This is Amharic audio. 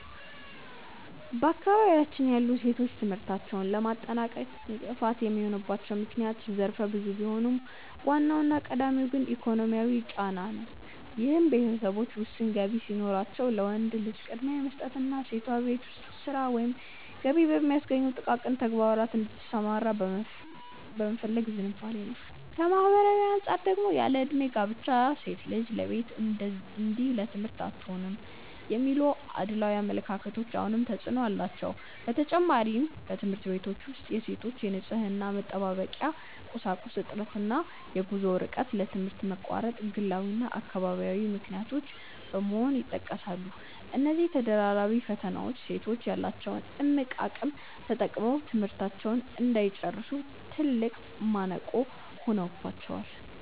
በአካባቢያችን ያሉ ሴቶች ትምህርታቸውን ለማጠናቀቅ እንቅፋት የሚሆኑባቸው ምክንያቶች ዘርፈ ብዙ ቢሆኑም፣ ዋናውና ቀዳሚው ግን ኢኮኖሚያዊ ጫና ነው፤ ይህም ቤተሰቦች ውስን ገቢ ሲኖራቸው ለወንድ ልጅ ቅድሚያ የመስጠትና ሴቷ በቤት ውስጥ ሥራ ወይም ገቢ በሚያስገኙ ጥቃቅን ተግባራት ላይ እንድትሰማራ የመፈለግ ዝንባሌ ነው። ከማኅበራዊ አንጻር ደግሞ ያለዕድሜ ጋብቻ እና "ሴት ልጅ ለቤት እንጂ ለትምህርት አትሆንም" የሚሉ አድሏዊ አመለካከቶች አሁንም ተፅዕኖ አላቸው። በተጨማሪም፣ በትምህርት ቤቶች ውስጥ የሴቶች የንፅህና መጠበቂያ ቁሳቁስ እጥረት እና የጉዞ ርቀት ለትምህርት መቋረጥ ግላዊና አካባቢያዊ ምክንያቶች በመሆን ይጠቀሳሉ። እነዚህ ተደራራቢ ፈተናዎች ሴቶች ያላቸውን እምቅ አቅም ተጠቅመው ትምህርታቸውን እንዳይጨርሱ ትልቅ ማነቆ ሆነውባቸዋል።